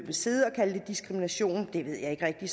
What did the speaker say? diskrimination ved jeg ikke rigtig